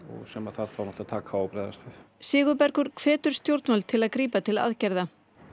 sem þarf að taka á og bregðast við Sigurbergur hvetur stjórnvöld til að grípa til aðgerða